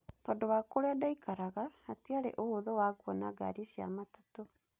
Tondũ wa kũrĩa ndaikaraga hatiarĩ ũhũthũ wa kũona ngari cia matatũ.